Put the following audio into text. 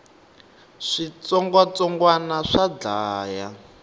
switsongwatsongwani swa dlaya